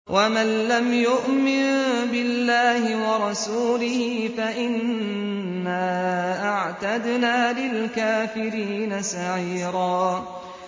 وَمَن لَّمْ يُؤْمِن بِاللَّهِ وَرَسُولِهِ فَإِنَّا أَعْتَدْنَا لِلْكَافِرِينَ سَعِيرًا